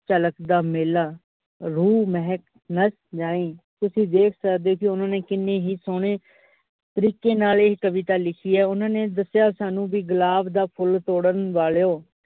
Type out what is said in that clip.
ਝਲ਼ਕ ਦਾ ਮੇਲਾ ਰੂਹ ਮਹਿਕ ਨਾ ਜਾਈ । ਤੁਸੀਂ ਵੇਖ ਸਕਦੇ ਹੋ ਓਹਨਾਂ ਕਿਨੈ ਹੀ ਸੋਹਣੇ ਤਰੀਕੇ ਨਾਲ ਏਹ ਕਵਿਤਾ ਲਿਖੀ ਆ। ਓਹਨਾ ਨੇ ਦੱਸਿਆ ਵੀ ਸਾਨੂ, ਉ ਗੁਲਾਬ ਦਾ ਫੁੱਲ ਤੋੜਨ ਵਾਲਿਓ।